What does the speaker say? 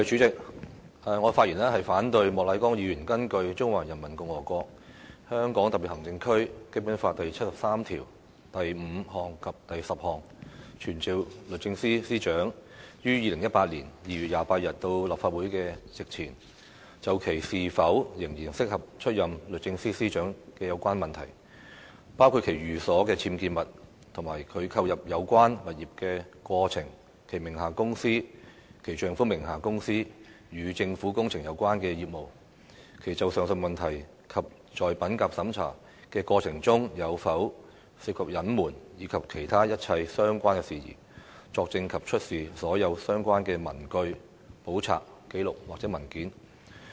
主席，我反對莫乃光議員根據《中華人民共和國香港特別行政區基本法》第七十三條第五項及第十項，傳召律政司司長於2018年2月28日到立法會席前，就其是否仍然適合出任律政司司長的有關問題，包括其寓所的僭建物、其購入有關物業的過程、其名下的公司、其丈夫名下的公司與政府工程有關的業務，其就上述問題及在品格審查的過程中有否涉及隱瞞，以及其他一切相關事宜，作證及出示所有相關的文據、簿冊、紀錄或文件。